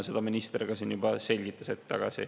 Seda minister siin juba hetk tagasi selgitas.